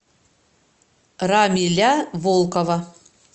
рамиля волкова